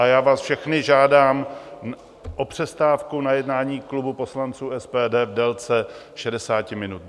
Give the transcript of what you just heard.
Proto vás všechny žádám o přestávku na jednání klubu poslanců SPD v délce 60 minut.